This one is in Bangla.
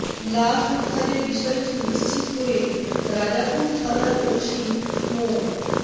লাশ উদ্ধারের বিষয়টি নিশ্চিত করে রাজাপুর থানার ওসি মো